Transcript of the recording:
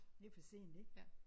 Det er for sent ik